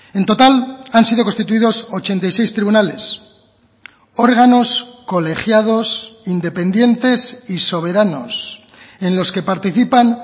en total han sido constituidos ochenta y seis tribunales órganos colegiados independientes y soberanos en los que participan